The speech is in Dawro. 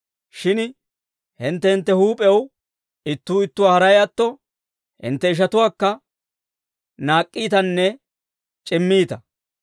Shin hintte hintte huup'ew ittuu ittuwaa haray atto, hintte ishatuwaakka naak'k'iitanne c'immiitta.